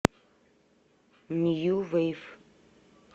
нью вейв